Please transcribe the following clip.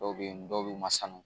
Dɔw bɛ yen dɔw bɛ masan